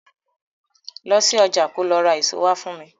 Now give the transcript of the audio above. Lọ sí ọjà ko lọ ra èso wá fún mi.